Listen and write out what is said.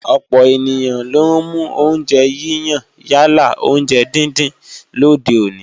Ọ̀pọ̀ ènìyàn ló ń mú oúnjẹ yíyan yálà oúnjẹ díndín lòde òní